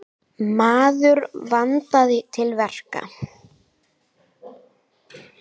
Maður vandaði til verka.